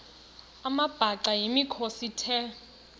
amabhaca yimikhosi the